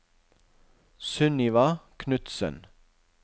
Sunniva Knutsen